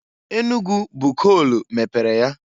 Enugu bụ koolu mepere ya.